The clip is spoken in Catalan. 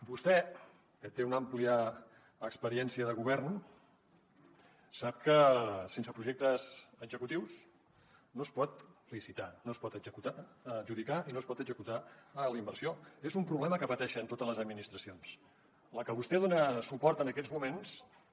vostè que té una àmplia experiència de govern sap que sense projectes executius no es pot licitar no es pot adjudicar i no es pot executar la inversió és un problema que pateixen totes les administracions a la que vostè dona suport en aquests moments també